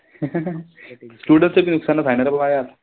Student चं त नुकसानच हाये न रे बाबा यात.